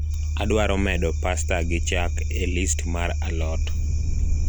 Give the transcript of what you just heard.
adwaro medo pasta gi chak e list mar a lot